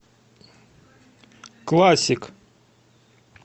классик